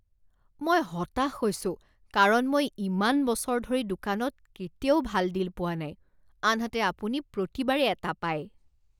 মই হতাশ হৈছোঁ কাৰণ মই ইমান বছৰ ধৰি দোকানত কেতিয়াও ভাল ডিল পোৱা নাই আনহাতে আপুনি প্ৰতিবাৰেই এটা পায়।